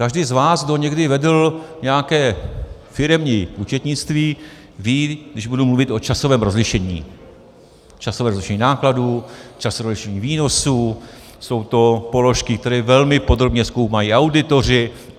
Každý z vás, kdo někdy vedl nějaké firemní účetnictví, ví, když budu mluvit o časovém rozlišení, časové rozlišení nákladů, časové rozlišení výnosů, jsou to položky, které velmi podrobně zkoumají auditoři.